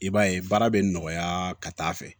I b'a ye baara bɛ nɔgɔya ka taa fɛ